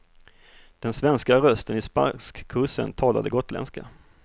Den svenska rösten i spanskkursen talade gotländska.